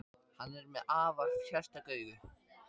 Hann er með afar sérstök augu.